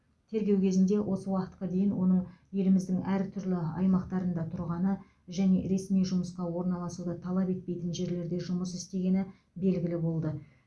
тергеу кезінде осы уақытқа дейін оның еліміздің әртүрлі аймақтарында тұрғаны және ресми жұмысқа орналасуды талап етпейтін жерлерде жұмыс істегені белгілі болды